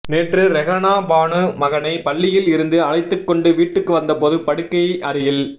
நேற்று ரெஹனா பானு மகனை பள்ளியில் இருந்து அழைத்துக் கொண்டு வீட்டுக்கு வந்தபோது படுக்கை அறையில்